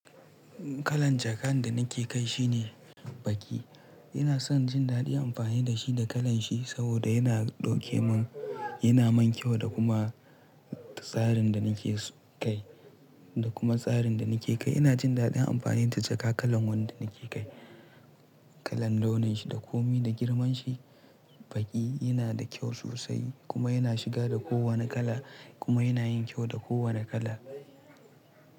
Kalan jakar da nake kai shine baƙi. Ina son jin daɗin amfani da shi da kalan shi saboda yana ɗauke mun, yana man kyau da kuma tsarin da nake kai, da kuma tsarin da nake kai. Ina jin daɗin amfani da jaka kalan wanda nake kai. Kalan launin shi da komi da girman shi. Baƙi yana da kyau sosai kuma yana shiga da kowane kala kuma yana yin kyau da kowane kala.